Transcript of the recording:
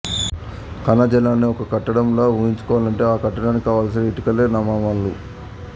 కణజాలాన్ని ఒక కట్టడం లా ఊహించుకుంటే ఆ కట్టడానికి కావలసిన ఇటికలే నవామ్లాలు